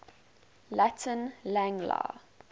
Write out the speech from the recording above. latin lang la